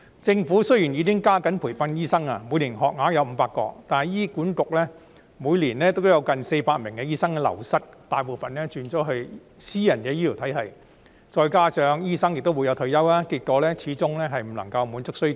政府雖然已經加緊培訓醫生，每年醫科生學額達500個，但醫院管理局每年都流失近400名醫生，大部分轉職至私營醫療體系，再加上醫生也會退休，結果醫生人手始終無法滿足醫療需求。